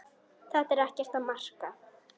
Þetta er ekkert að marka.